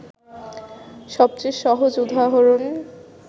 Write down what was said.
সবচেয়ে সহজ উদাহরণ